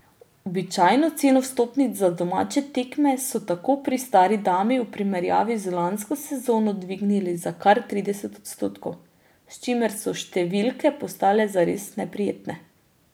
Običajno ceno vstopnic za domače tekme so tako pri stari dami v primerjavi z lansko sezono dvignili za kar trideset odstotkov, s čimer so številke postale zares neprijetne.